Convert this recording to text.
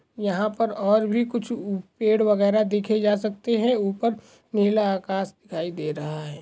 यहाँ पर और भी कुछ पेड वगैरा देखे जा सकते है उपर निला आकाश दिखाई दे रहा है।